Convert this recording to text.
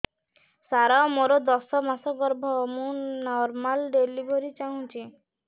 ସାର ମୋର ଦଶ ମାସ ଗର୍ଭ ମୁ ନର୍ମାଲ ଡେଲିଭରୀ ଚାହୁଁଛି